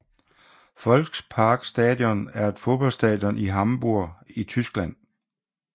Volksparkstadion er et fodboldstadion i Hamburg i Tyskland